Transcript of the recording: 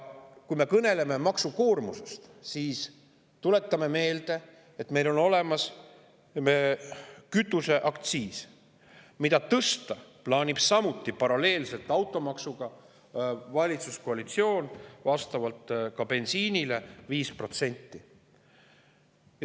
Kui me kõneleme maksukoormusest, siis tuletan meelde, et meil on olemas kütuseaktsiis, mida valitsuskoalitsioon plaanib samuti tõsta paralleelselt automaksuga, bensiini 5%.